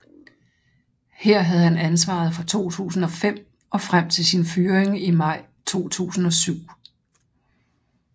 Her havde han ansvaret fra 2005 og frem til sin fyring i maj 2007